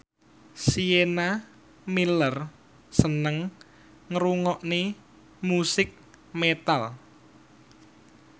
Sienna Miller seneng ngrungokne musik metal